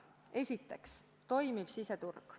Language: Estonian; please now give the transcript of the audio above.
Esiteks, toimiv siseturg.